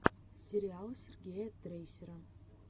сериал сергея трейсера